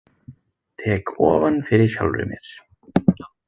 Tek ofan fyrir sjálfri mér.